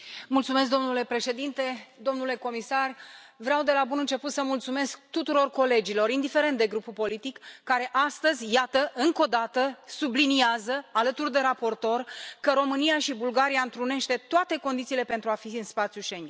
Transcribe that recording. Domnule președinte, domnule comisar, vreau de la bun început să mulțumesc tuturor colegilor, indiferent de grupul politic, care astăzi, iată, încă o dată, subliniază alături de raportor că România și Bulgaria întrunesc toate condițiile pentru a fi în spațiul Schengen.